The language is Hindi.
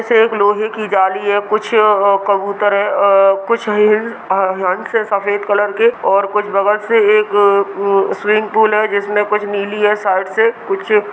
एक लोहे की जाली है कुछ कबूतर है कुछ हंस है सफ़ेद कलर के और कुछ बगल से एक स्विमिंग पूल है जिसमें कुछ नीली है साइड से कुछ--